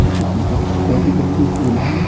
जो कि बहुत बड़ी लंबी पूल है।